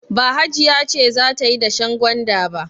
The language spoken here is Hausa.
Ba Hajiya ce za ta yi dashen gwanda ba.